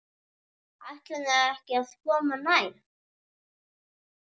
Ætlarðu ekki að koma nær?